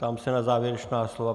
Ptám se na závěrečná slova.